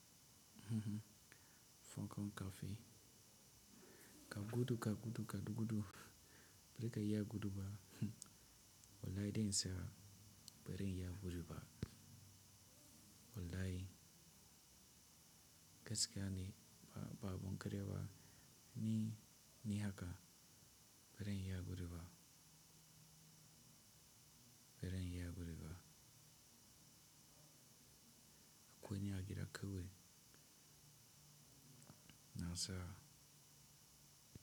Hhmh, fon kom kaafi. Ka gudu, ka gudu, ka gudu gudu, bari ka iya gudu ba. Wallahi dai in tsaya bari iya gudu ba. Wallahi gaskiya ne ba, abun karya ba ni, ni haka bari iya gudu ba. Bari ya gudu ba. Akwai niyya gida kawai. Na sa.